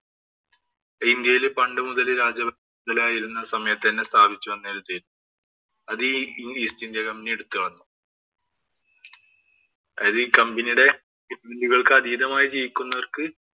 ഇന്‍ഡ്യയില്‍ പണ്ട് മുതലേ രാജ ആയിരുന്ന സമയത്ത് സ്ഥാപിച്ചു വന്ന ഒരു അതീ East India Company എടുത്തുകളഞ്ഞു അതീ company യുടെ അതീതമായി ജീവിക്കുന്നവര്‍ക്ക്